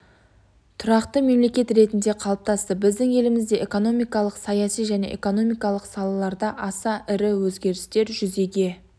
тұрақты мемлекет ретінде қалыптасты біздің елімізде экономикалық саяси және экономикалық салаларда аса ірі өзгерістер жүзеге